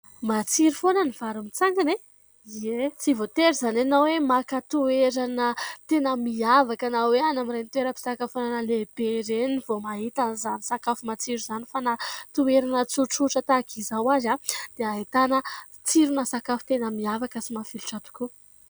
Matsiro foana ny vary mitsangana e ? Ie. Tsy voatery izany ianao hoe maka toerana tena miavaka na hoe any amin'ireny toeram-pisakafoanana lehibe ireny vao mahita an'izany sakafo matsiro izany fa na toerana tsotsotra tahaka izao ary dia ahitana tsirona sakafo tena miavaka sy mafilotra tokoa.